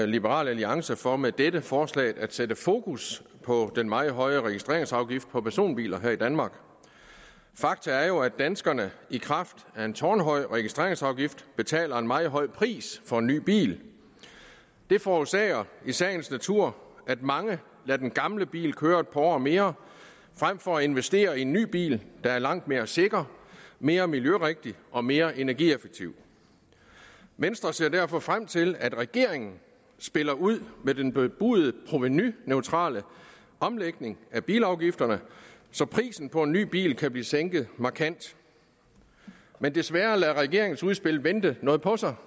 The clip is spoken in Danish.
liberal alliance for med dette forslag at sætte fokus på den meget høje registreringsafgift på personbiler her i danmark faktum er jo at danskerne i kraft af en tårnhøj registreringsafgift betaler en meget høj pris for en ny bil det forårsager i sagens natur at mange lader den gamle bil køre et par år mere frem for at investere i en ny bil der er langt mere sikker mere miljørigtig og mere energieffektiv venstre ser derfor frem til at regeringen spiller ud med den bebudede provenuneutrale omlægning af bilafgifterne så prisen på en ny bil kan blive sænket markant men desværre lader regeringens udspil vente noget på sig